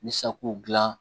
Ni sako dilan